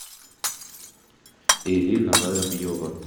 ирина воробьева